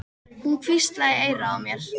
Hún hvíslaði í eyrað á mér.